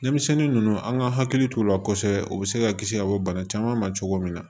Denmisɛnnin ninnu an ka hakili t'u la kosɛbɛ u bɛ se ka kisi ka bɔ bana caman ma cogo min na